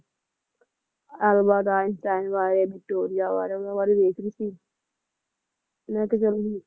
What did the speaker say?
Albert Einstein ਬਾਰੇ Victoria ਬਾਰੇ ਉਨ੍ਹਾਂ ਬਾਰੇ ਦੇਖ ਰਿਹੀ ਸੀ ਮੈਂ ਕਿਹਾ ਚੱਲ ਹੁਣ